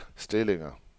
stillinger